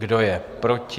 Kdo je proti?